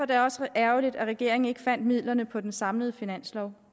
det også ærgerligt at regeringen ikke fandt midlerne på den samlede finanslov